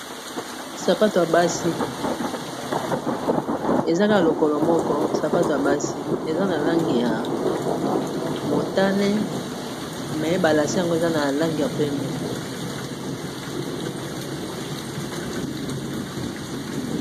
sapato yabasi lokolo moko sapato ya basi eza na langi ya motane me ba lasin yango eza na lange ya pembe